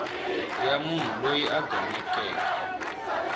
ya munhu loyi a gonekeke